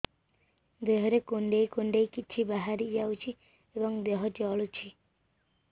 ଦେହରେ କୁଣ୍ଡେଇ କୁଣ୍ଡେଇ କିଛି ବାହାରି ଯାଉଛି ଏବଂ ଦେହ ଜଳୁଛି